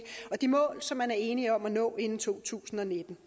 og de mål som man er enige om at nå inden to tusind og nitten